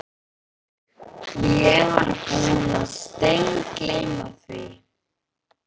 Ég var búinn að steingleyma því.